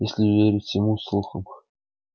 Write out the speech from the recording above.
если верить всему слухам